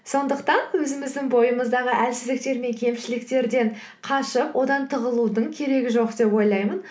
сондықтан өзіміздің бойымыздағы әлсіздіктер мен кемшіліктерден қашып одан тығылудың керегі жоқ деп ойлаймын